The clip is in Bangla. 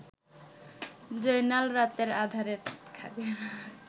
জয়নাল রাতের আধাঁরে